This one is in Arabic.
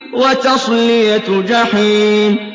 وَتَصْلِيَةُ جَحِيمٍ